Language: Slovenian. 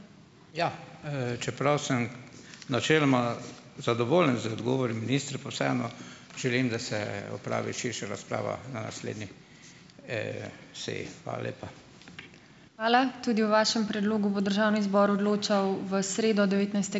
Ja. Čeprav sem načeloma zadovoljen z odgovori ministra, pa vseeno - želim, da se opravi širša razprava na naslednji seji. Hvala lepa.